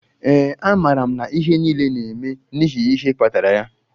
Ee, amaara m na ihe niile na-eme n'ihi ihe kpatara ya.